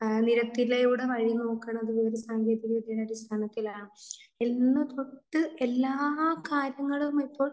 നിരത്തിലൂടെ വഴി നോക്കണത് വിവര സാങ്കേതികതയുടെ അടിസ്ഥാനത്തിലാണ് എന്ന് തൊട്ട് എല്ലാ കാര്യങ്ങളും ഇപ്പോൾ